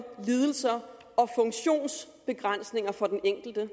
lidelser og funktionsbegrænsninger for den enkelte